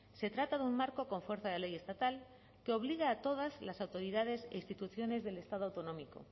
se trata de un marco con fuerza de ley estatal que obliga a todas las autoridades e instituciones del estado autonómico